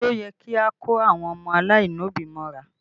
Ṣé ó yẹ kí a kó àwọn ọmọ aláìlóbí mọ́ra?